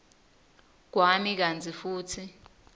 kwami kantsi futsi